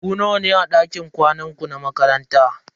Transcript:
Ku nawa ne a dakin kwanan ku na makaranta?